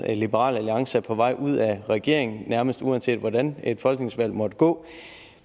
at liberal alliance er på vej ud af regeringen nærmest uanset hvordan et folketingsvalg måtte gå